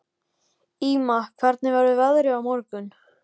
Ýma, hvernig verður veðrið á morgun?